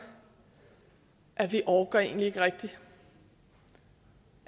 at vi orker egentlig ikke rigtig så